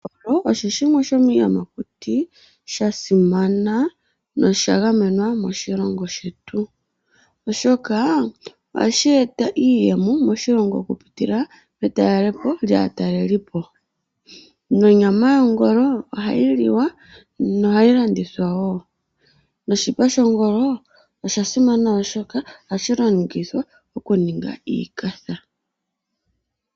Ongolo osho shimwe shomiiyamakuti sha simana nosha gamenwa moshilongo shetu, oshoka ohashi eta iiyemo moshilongo okupitila maatalelipo nonyama yongolo ohayi liwa nohayi landithwa wo. Oshipa shongolo ohashi longithwa okuninga iikatha.